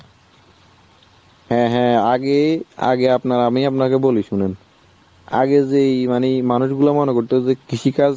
হ্যাঁ হ্যাঁ আগে আগে আপনার আমি আপনাকে বলি শুনেন। আগে যেই মানে মানুষগুলো মনে করত যে কৃষিকাজ